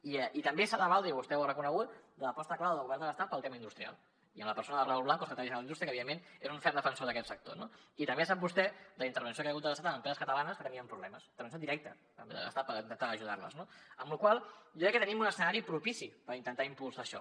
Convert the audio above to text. i també s’ha valdre i vostè ho ha reconegut l’aposta clara del govern de l’estat per al tema industrial i en la persona de raúl blanco el secretari general d’indústria que evidentment és un ferm defensor d’aquest sector no i també sap vostè la intervenció que hi ha hagut de l’estat en empreses catalanes que tenien problemes intervenció directa de l’estat per intentar ajudar les no amb la qual cosa jo crec que tenim un escenari propici per intentar impulsar això